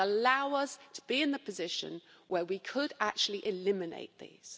It would allow us to be in a position where we could actually eliminate these.